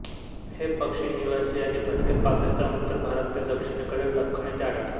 हे पक्षी निवासी आणि भटके पाकिस्तान उत्तर भारत ते दक्षिणकडील दख्खन येथे आढळतात